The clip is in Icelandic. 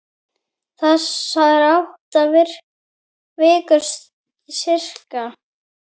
Þessar átta vikur, sirka.